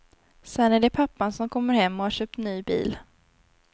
Sen är det pappan, som kommer hem och har köpt ny bil.